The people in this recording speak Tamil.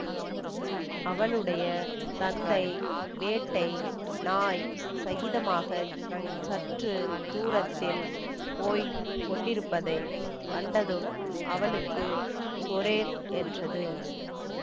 அவளுடைய தந்தை வேட்டை நாய் சகிதமாகச் சற்று தூரத்தில் போய் கொண்டிருப்பதை கண்டதும் அவளுக்கு சொரேல் என்றது